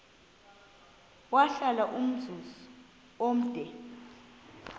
wahlala umzum omde